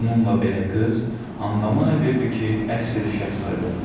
Bununla belə qız andaman edirdi ki, əsl şahzadədir.